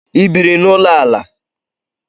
Ị biiri n'ụlọ ala?